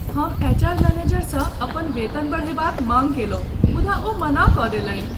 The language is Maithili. हम एचआर मैनेजरसँ अपन वेतन बढ़यबाक माँग कयलहुँ मुदा ओ मना कऽ देलनि।